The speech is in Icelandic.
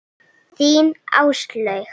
Þín, Áslaug.